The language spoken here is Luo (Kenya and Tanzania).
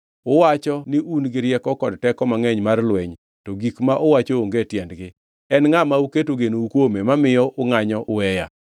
Uwacho ni un gi rieko kod teko mangʼeny mar lweny, to gik ma uwacho onge tiendgi. En ngʼa ma uketo genou kuome, mamiyo ungʼanyo uweya?